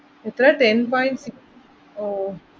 എത്രയാ ten point six ഓ